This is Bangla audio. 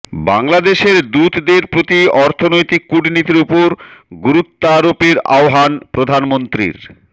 বাংলাদেশের দূতদের প্রতি অর্থনৈতিক কূটনীতির ওপর গুরুত্বারোপের আহ্বান প্রধানমন্ত্রীর